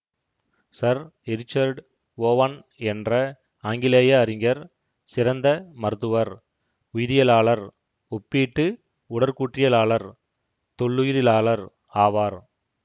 Sir Richard Owen என்ற ஆங்கிலேய அறிஞர் சிறந்த மருத்துவர் உயிரியலாளர் ஒப்பீட்டு உடற்கூற்றியலாளர் தொல்லுயிரிலாளர் ஆவார்